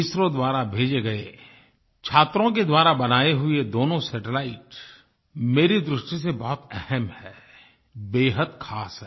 SRO द्वारा भेजे गये छात्रों के द्वारा बनाये हुए दोनों सैटेलाइट मेरी दृष्टि से बहुत अहम् हैं बेहद ख़ास हैं